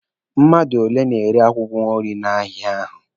Mmadụ ole na-ere akwụkwọ nri n'ahịa ahụ?